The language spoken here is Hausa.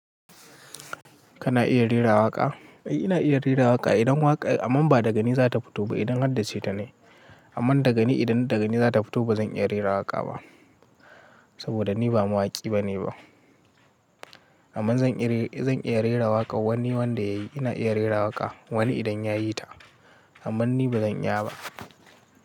Kana iya rera waƙa? Ai ina iya rera waƙa idan waƙa, amma ba da gani za ta fito ba idan har da ce ta ne. Amma da gani idan da gani za ta fito ba zan iya rera waƙa ba. Saboda ni ba mawaƙi bane ba. Amma zan iya, zan iya rera waƙa wani wanda yayi ina iya rera waƙa. Wani idan ya yi ta. Amma ni ba zan iya ba.